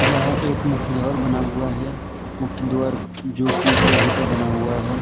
यह एक मुख्य द्वार बना हुआ है। मुख्य द्वार जो कि लोहे का बना हुआ है।